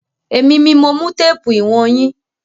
Èmi mi mo mú téèpù ìwọ̀n yín.